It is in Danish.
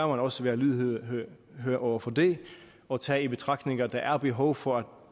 også være lydhør over for det og tage i betragtning at der er behov for at